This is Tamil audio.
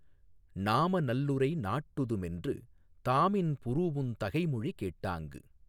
நாம நல்லுரை நாட்டுது மென்று தாமின் புறூஉந் தகைமொழி கேட் டாங்கு